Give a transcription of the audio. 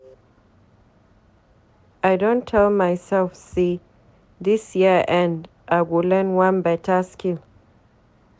I don tell mysef sey before dis year end, I go learn one beta skill.